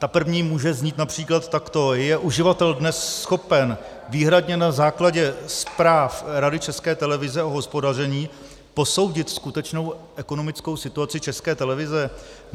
Ta první může znít například takto: Je uživatel dnes schopen výhradně na základě zpráv Rady České televize o hospodaření posoudit skutečnou ekonomickou situaci České televize?